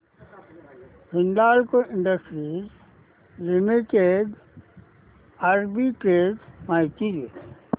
Hindalco industries limited arbitrage माहिती दे